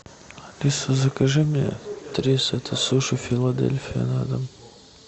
алиса закажи мне три сета суши филадельфия на дом